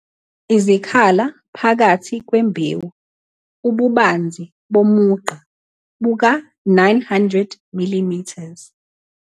Izikhala phakathi kwembewu ububanzi bomugqa buka-900 mm